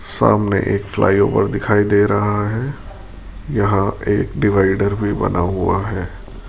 सामने एक flyover दिखाई दे रहा है यहां एक डिवाइडर भी बना हुआ है।